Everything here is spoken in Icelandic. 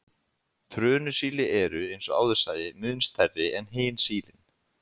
Trönusíli eru, eins og áður sagði, mun stærri en hin sílin.